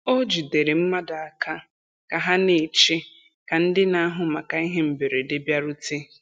O jidere mmadụ aka ka ha na-eche ka ndị na-ahụ maka ihe mberede bịarute.